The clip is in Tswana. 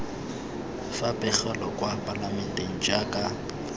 fa pegelo kwa palamenteng jaaka